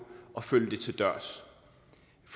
at følge det til dørs